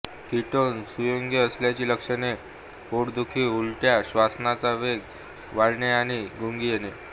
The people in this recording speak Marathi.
कीटोन संयुगे असल्याची लक्षणे पोटदुखी उलट्या श्वसनाचा वेग वाढणे आणि गुंगी येणे